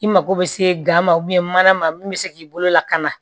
I mago bɛ se gan ma mana ma min bɛ se k'i bolo lakana